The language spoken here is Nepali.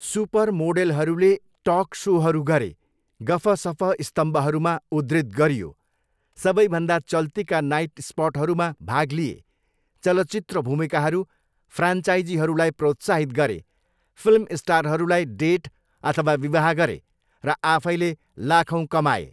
सुपर मोडेलहरूले टक सोहरू गरे, गफसफ स्तम्भहरूमा उद्धृत गरियो, सबैभन्दा चल्तीका नाइटस्पटहरूमा भाग लिए, चलचित्र भूमिकाहरू, फ्रान्चाइजीहरूलाई प्रोत्साहित गरे, फिल्म स्टारहरूलाई डेट अथवा विवाह गरे, र आफैँले लाखौँ कमाए।